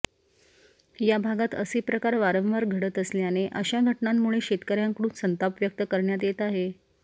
या भागात असे प्रकार वारंवार घडत असल्याने अशा घटनांमुळे शेतकऱ्यांकडून संताप व्यक्त करण्यात येत आहे